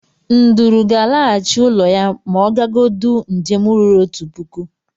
Nduru gal alaghachi ulọ ya ma ogagodụọ njem ruru otu puku.